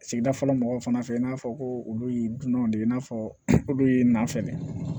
Sigidala mɔgɔw fana fɛ i n'a fɔ ko olu ye dunanw de ye i n'a fɔ olu ye nafɛn de ye